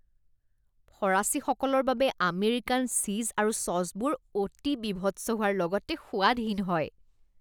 ফৰাচীসকলৰ বাবে American cheese আৰু ছ'চবোৰ অতি বীভৎস হোৱাৰ লগতে সোৱাদহীন হয়